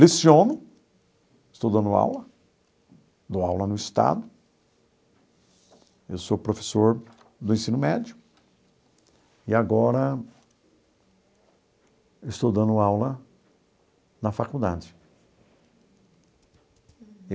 Leciono, estou dando aula, dou aula no estado, eu sou professor do ensino médio e agora estou dando aula na faculdade.